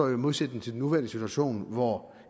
i modsætning til den nuværende situation hvor